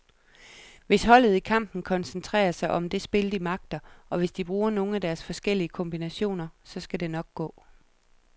Hvis holdet i kampen koncentrerer sig om det spil, de magter, og hvis de bruger nogle af deres forskellige kombinationer, så skal det nok gå.